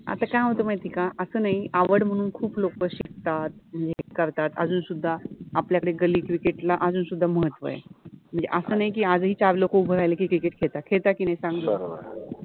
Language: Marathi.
आता काय होत माहिति आहे का अस नाहि आवड मनुन खुप लोक शिकतात, हे करतात, अजुनसुद्धा आपल्याकडे गल्लि क्रिकेट {cricket} ला अजुनसुद्धा महत्त्व आहे, अस नाहि कि आजुन चार लोक उभे राहिले कि क्रिकेट {cricket} खेळतात, खेळतात कि नाहि सांग बर